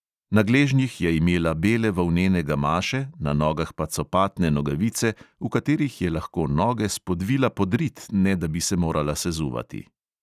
Na gležnjih je imela bele volnene gamaše, na nogah pa copatne nogavice, v katerih je lahko noge spodvila pod rit, ne da bi se morala sezuvati.